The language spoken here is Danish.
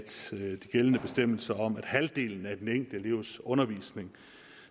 gældende bestemmelser om at halvdelen af den enkelte elevs undervisning